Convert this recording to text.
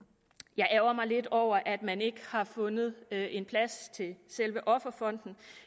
jeg ærgrer mig lidt over at man ikke har fundet en plads til selve offerfonden